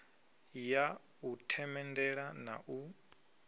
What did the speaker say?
ya u themendela na u